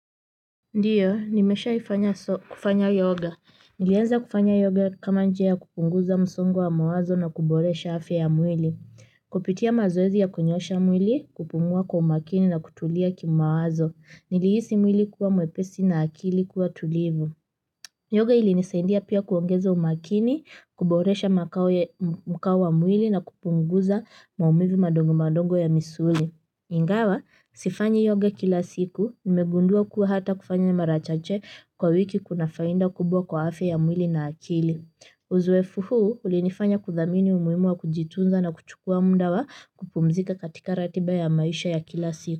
Ndiyo, nimeshai fanya kufanya yoga. Nilianza kufanya yoga kama njia ya kupunguza msongo wa mawazo na kuboresha afya ya mwili. Kupitia mazoezi ya kunyoosha mwili, kupumua kwa umakini na kutulia kimawazo. Nilihisi mwili kuwa mwepesi na akili kuwa tulivu. Yoga ilinisaindia pia kuongeza umakini, kuboresha makao mkaa wa mwili na kupunguza maumivi madogo madogo ya misuli. Ingawa, sifanyi yoga kila siku nimegundua kuwa hata kufanya mara chache kwa wiki kuna faida kubwa kwa afya ya mwili na akili. Uzoefu huu ulinifanya kuthamini umuhimu wa kujitunza na kuchukua mda wa kupumzika katika ratiba ya maisha ya kila siku.